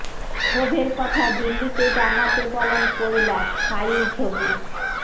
ক্ষোভের কথা দিল্লিতে জানাতে বলেন কৈলাস ফাইল ছবি